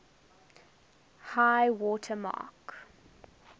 high water mark